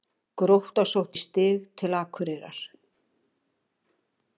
Grótta sótti stig til Akureyrar